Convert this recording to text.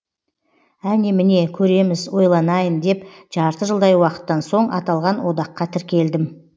әне міне көреміз ойланайын деп жарты жылдай уақыттан соң аталған одаққа тіркелдім